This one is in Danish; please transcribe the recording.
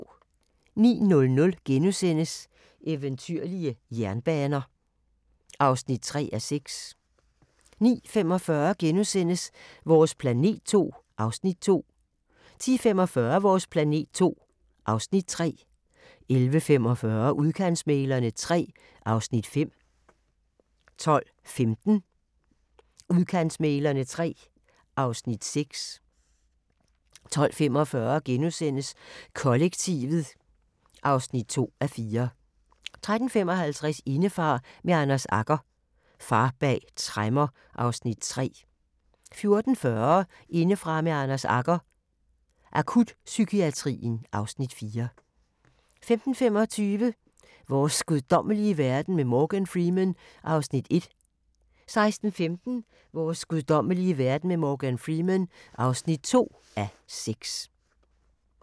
09:00: Eventyrlige jernbaner (3:6)* 09:45: Vores planet II (Afs. 2)* 10:45: Vores planet II (Afs. 3) 11:45: Udkantsmæglerne III (Afs. 5) 12:15: Udkantsmæglerne III (Afs. 6) 12:45: Kollektivet (2:4)* 13:55: Indefra med Anders Agger – Far bag tremmer (Afs. 3) 14:40: Indefra med Anders Agger – Akutpsykiatrien (Afs. 4) 15:25: Vores guddommelige verden med Morgan Freeman (1:6) 16:15: Vores guddommelige verden med Morgan Freeman (2:6)